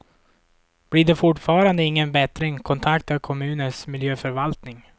Blir det fortfarande ingen bättring, kontakta kommunens miljöförvaltning.